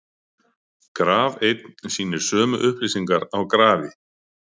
graf einn sýnir sömu upplýsingar á grafi